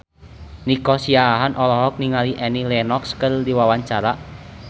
Nico Siahaan olohok ningali Annie Lenox keur diwawancara